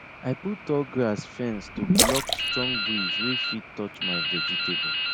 i put tall grass fence to block strong breeze wey fit touch my vegetable